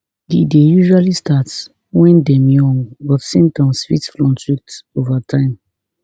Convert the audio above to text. e dey usually start wen dem young but symptoms fit fluctuate ova time